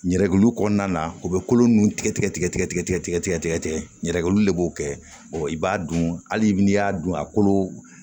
Ɲɛrɛgluw kɔnɔna na u bɛ kolo ninnu tigɛ tigɛ tigɛ tigɛ tigɛ tigɛ tigɛ tigɛ yɛrɛ olu de b'o kɛ i b'a dun hali n'i y'a dun a kolo